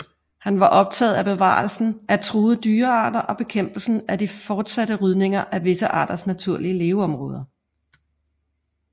Han var optaget af bevarelsen af truede dyrearter og bekæmpelsen af den fortsatte rydning af visse arters naturlige leveområder